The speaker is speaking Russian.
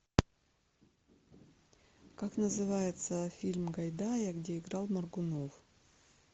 как называется фильм гайдая где играл моргунов